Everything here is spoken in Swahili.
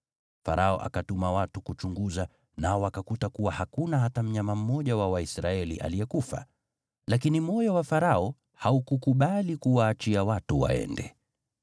Farao akatuma watu kuchunguza, nao wakakuta kuwa hakuna hata mnyama mmoja wa Waisraeli aliyekufa. Lakini moyo wa Farao haukukubali kuwaachia watu waende.